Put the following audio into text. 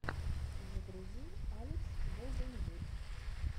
загрузи алекс голденвуд